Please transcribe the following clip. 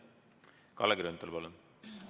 Kalle Grünthal, palun!